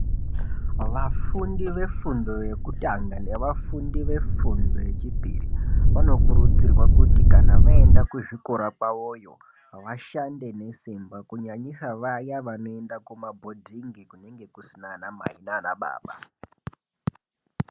Vafundi vefundo yekutanga nevafundi vefundo yechipiri vanokurudzirwa kuti kana vaenda kuZvikora kwawoyo vashande besimba kunyanyisa vaya vanoenda kumabhodhingi kunenge kusina ana mai nana baba.